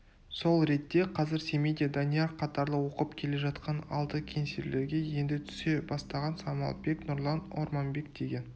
сол ретте қазір семейде данияр қатарлы оқып келе жатқан алды кеңселерге енді түсе бастаған самалбек нұрлан орманбек деген